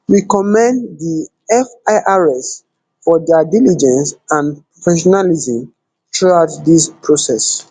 we commend di firs for dia diligence and professionalism throughout dis process